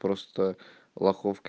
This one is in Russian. просто лохов